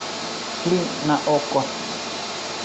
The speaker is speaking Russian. фильм на окко